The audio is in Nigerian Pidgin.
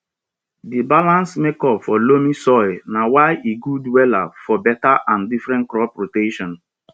the balanced makeup for loamy soil na why e good wella for better and different crop rotations